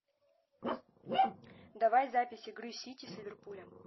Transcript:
давай запись игры сити с ливерпулем